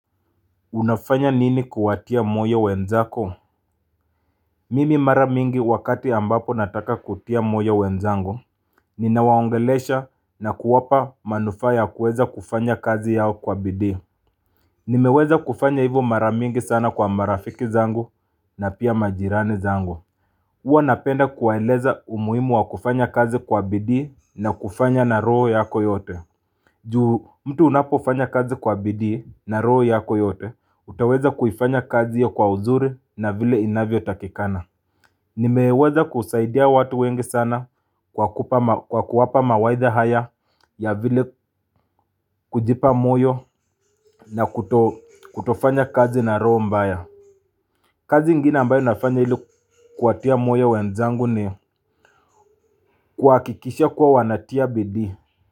Unafanya nini kuwatia moyo wenzako? Mimi mara mingi wakati ambapo nataka kutia moyo wenzangu, ninawaongelesha na kuwapa manufaa ya kuweza kufanya kazi yao kwa bidii Nimeweza kufanya hivyo mara mingi sana kwa marafiki zangu na pia majirani zangu. Huwa napenda kuwaeleza umuhimu wa kufanya kazi kwa bidii na kufanya na roho yako yote. Juu mtu unapofanya kazi kwa bidii na roho yako yote. Utaweza kuifanya kazi hiyo kwa uzuri na vile inavyotakikana. Nimeweza kusaidia watu wengi sana kwa kupa kuwapa mawaidha haya ya vile kujipa moyo na kuto kutofanya kazi na roho mbaya kazi ingine ambayo nafanya ili kuwatia moyo wenzangu ni kuwahakikisha kwa wanatia bidii.